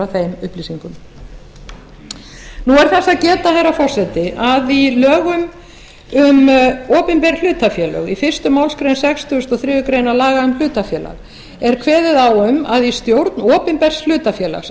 þeim upplýsingum nú er þess að geta herra forseti að í lögum um opinber hlutafélög í fyrstu málsgrein sextugustu og þriðju grein laga um hlutafélög er kveðið á um að í stjórn opinbers hlutafélags